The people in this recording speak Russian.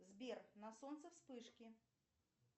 сбер на солнце вспышки